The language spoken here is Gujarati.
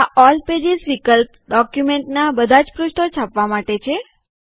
આ ઓલ પેજીસ વિકલ્પ ડોક્યુમેન્ટનાં બધા જ પૃષ્ઠો છાપવા માટે છે